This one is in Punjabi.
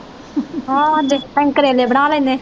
ਹਾਂ ਅਸੀਂ ਕਰੇਲੇ ਬਣਾ ਲੈਨੇ।